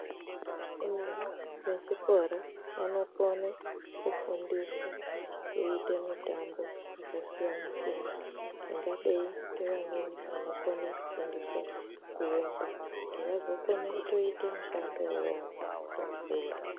Vana vechikora vanokone kufundiswa kuite mitambo yakasiyana-siyana ingadei ngevamweni vanokone kufundiswa kuemba kuti kuzotoita mushando iwowo kana vakura.